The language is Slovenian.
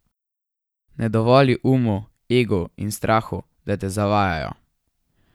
Ne dovoli umu, egu in strahu, da te zavajajo.